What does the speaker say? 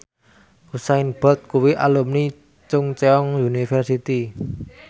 Usain Bolt kuwi alumni Chungceong University